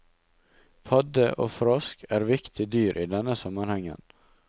Padde og frosk er viktige dyr i denne sammenhengen.